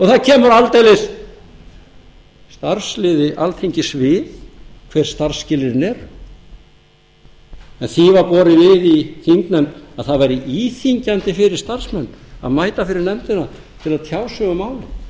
það kemur aldeilis starfsliði alþingis við hver starfsskilyrðin eru því var borið við í þingnefnd að það væri íþyngjandi fyrir starfsmenn að mæta fyrir nefndina til að tjá sig um málið